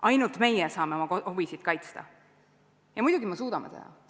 Ainult meie saame oma huvisid kaitsta ja muidugi me suudame seda.